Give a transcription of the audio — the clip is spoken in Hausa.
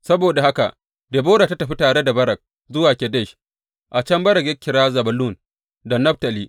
Saboda haka Debora ta tafi tare da Barak zuwa Kedesh, a can Barak ya kira Zebulun da Naftali.